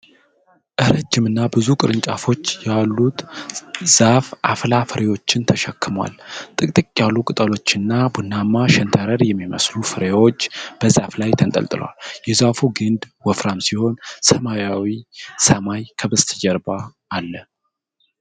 ረጅምና ብዙ ቅርንጫፎች ያሉት ዛፍ አፍላ ፍሬዎችን ተሸክሟል። ጥቅጥቅ ያሉ ቅጠሎችና ቡናማ ሸንተረር የሚመስሉ ፍሬዎች በዛፉ ላይ ተንጠልጥለዋል። የዛፉ ግንድ ወፍራም ሲሆን ሰማያዊ ሰማይ ከበስተጀርባው አለ።